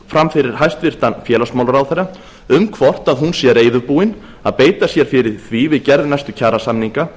fram fyrir hæstvirtan félagsmálaráðherra um hvort hún sé reiðubúin að beita sér fyrir því við gerð næstu kjarasamninga